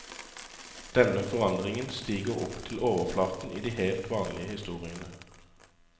Denne forandringen stiger opp til overflaten i de helt vanlige historiene.